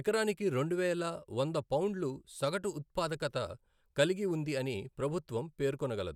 ఎకరానికి రెండువేల వంద పౌండులు సగటు ఉత్పాదకత కలిగి ఉంది అని ప్రభుత్వం పేర్కొనగలదు.